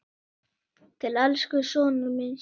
Til elsku sonar míns.